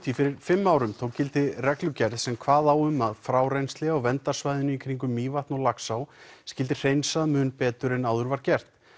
fyrir fimm árum tók gildi reglugerð sem kvað á um að frárennsli á verndarsvæðinu í kringum Mývatn og Laxá skyldi hreinsað mun betur en áður var gert